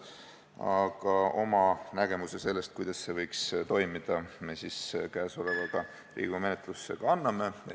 Aga oma nägemuse sellest, kuidas see võiks toimuda, me käesolevaga Riigikogu menetlusse ka anname.